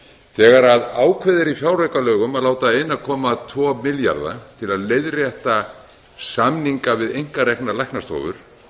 þegar ákveðið er í fjáraukalögum að láta einn komma tvo milljarða til að leiðrétta samninga við einkareknar læknastofur